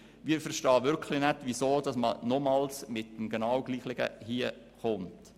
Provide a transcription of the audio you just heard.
Wir verstehen wirklich nicht, weshalb man nochmals den genau gleichen Vorschlag bringt.